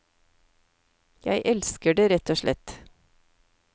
Jeg elsker det, rett og slett.